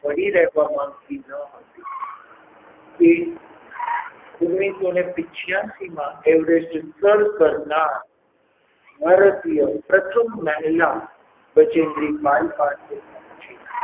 પડી રહેવા માંગતી ન હતી તે ઓગણીસો ને પીન્ચ્યાસી માં Everest સર કરનાર ભારતીય પ્રથમ મહિલા બજેન્દ્રી પાલ પાસે પહોંચી.